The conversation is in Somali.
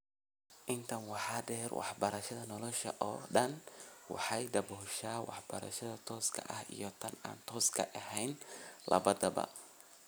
Intaa waxaa dheer, waxbarashada nolosha oo dhan waxay dabooshaa waxbarashada tooska ah iyo tan aan tooska ahayn labadaba.